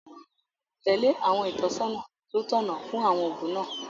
Tẹ̀lé àwọn ìtọ́sọ́nà tó tọ̀nà fún àwọn oògùn náà